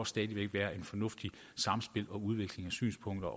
stadig væk være et fornuftigt samspil og en udveksling af synspunkter